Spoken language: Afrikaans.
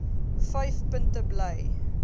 vyf punte bly